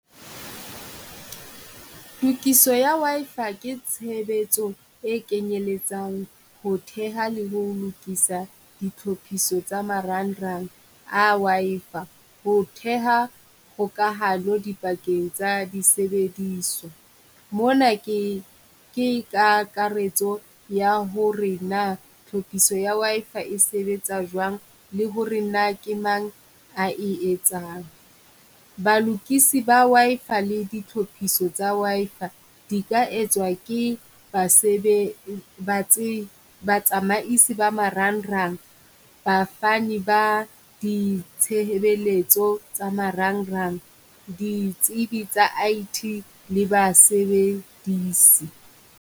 Tokiso ya Wi-Fi ke tshebetso e kenyelletsang ho theha le ho lokisa ditlhophiso tsa marangrang a Wi-Fi, ho theha hokahano dipakeng tsa disebediswa. Mona ke ke kakaretso ya ho re na tlhophiso ya Wi-Fi e sebetsa jwang le ho re na ke mang a e etsang. Ba lokisi Wi-Fi le ditlhophiso tsa Wi-Fi di ka etswa ke basebe, ba tse ba tsamaisi ba marangrang. Ba fani ba ditshehebeletso tsa marangrang, ditsebi tsa I_T le ba sebedisi.